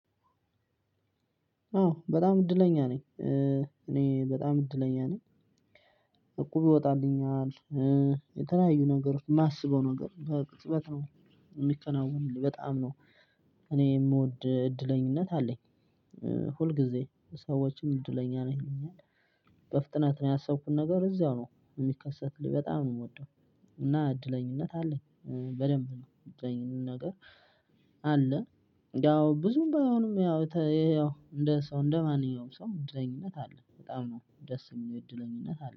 አዎ በጣም እድለኛ ነኝ። እኔ በጣም እድለኛ ነኝ። እቁብ ይወጣልኛል። የተለያዩ ነገሮች የማስበው ነገር በቅጽበት ነው የሚከናወንልኝ በጣም ነው። እኔ የምወድ እድለኝነት አለኝ። ሁል ጊዜ ሰዎችም እድለኛ ነህ ይሉኛል። በፍጥነት ነው ያሰብኩት ነገር እዛው ነው የሚከሰትልኝ በጣም ነው የምወደው። እና እድለኝነት አለኝ። በደንብ ነው እድለኝነት ነገር አለ። ያው ብዙም ባይሆንም ያው እንደ ሰው እንደማንኛውም ሰው እድለኝነት አለ በጣም ነው ደስ የሚለው እድለኝነት አለ